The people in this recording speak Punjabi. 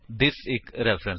spoken tutorial